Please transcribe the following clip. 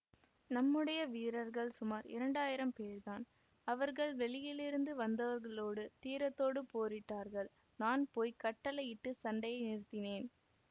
நம்முடைய வீரர்கள் சுமார் இரண்டாயிரம் பேர்தான் அவர்கள் வெளியிலிருந்து வந்தவர்களோடு தீரத்தோடு போரிட்டார்கள் நான் போய் கட்டளையிட்டுச் சண்டையை நிறுத்தினேன்